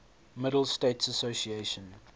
middle states association